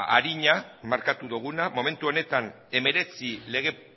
arina markatu duguna momentu honetan hemeretzi lege